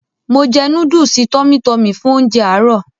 Mo jẹ núdùùsì "TummyTummy" fún ounjẹ àárọ̀.